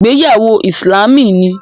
Ìgbéyàwó Ìsìlámù ni